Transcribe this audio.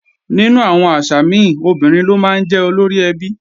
Nínú àwọn àṣà mi, obìnrin ló máa ń jẹ́ olóríẹbí